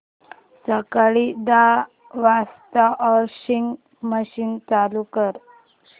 सकाळी दहा वाजता वॉशिंग मशीन चालू कर